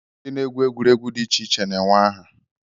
Ndị na-egwu egwuregwu dị iche iche na-enwe aha